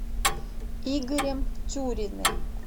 игорем тюриным